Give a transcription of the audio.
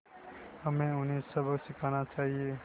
हमें उन्हें सबक सिखाना चाहिए